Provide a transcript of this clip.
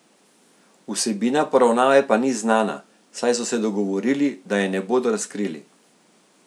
Vsebina poravnave pa ni znana, saj so se dogovorili, da je ne bodo razkrili.